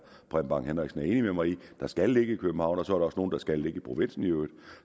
preben bang henriksen er enig med mig i der skal ligge i københavn og så også nogle der skal ligge i provinsen